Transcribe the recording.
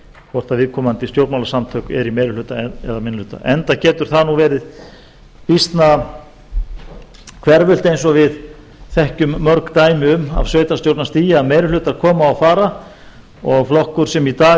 upphafi hvort viðkomandi stjórnmálasamtök eru í meiri hluta eða minni hluta enda getur það verið býsna hverfult eins og við þekkjum mörg dæmi um af sveitarstjórnarstigi að meiri hlutar koma og fara og flokkur sem í dag er